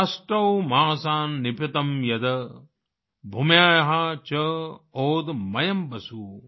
अष्टौ मासान् निपीतं यद् भूम्याः च ओदमयम् वसु